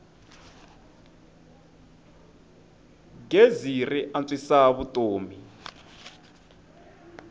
gezi ri antswisa vutomi